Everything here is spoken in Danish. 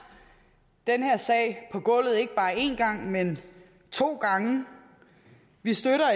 den her sag på gulvet ikke bare én gang men to gange vi støtter